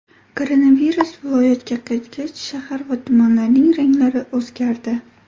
Koronavirus viloyatga qaytgach , shahar va tumanlarning ranglari o‘zgardi .